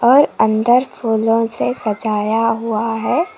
और अंदर फूलों से सजाया हुआ है।